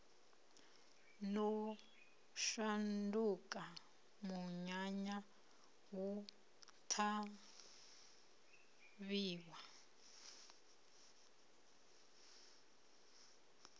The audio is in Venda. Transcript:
no shanduka munyanya hu ṱhavhiwa